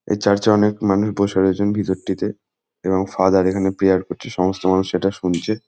এই চার্চ এ অনেক মানুষ বসে রয়েছেন ভিতরটিতে এবং ফাদার এখানে প্রেয়ার করছে সমস্ত মানুষ সেটা শুনছে।